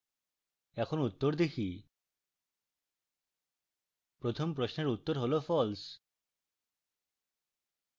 এখন উত্তর দেখি প্রথম প্রশ্নের উত্তর হল false